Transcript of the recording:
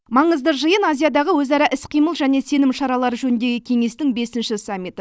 маңызды жиын азиядағы өзара іс қимыл және сенім шаралары жөніндегі кеңестің бесінші саммиті